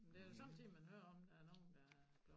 Det er da sommetider man hører om der er nogen der